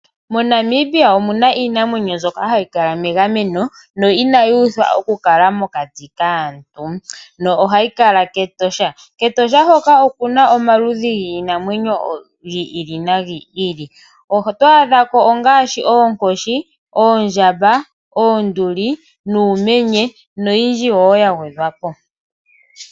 Mo Namibia omuna iinamwenyo mbyoka hayi kala megameno no ina yuudhwa oku kala mokati kaantu no hayi kala kEtosha, kEtosha hoka okuna omaludhi giinamwenyo gili no gili oto adhako ngaashi Oonkoshi , Oondjamba , Oonduli nUumenye no yindji woo yagwedhwapo.